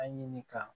A ɲini ka